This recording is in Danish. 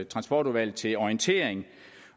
transportudvalget til orientering